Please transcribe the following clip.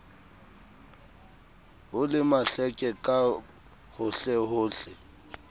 ho le mahleke ka hohlehohle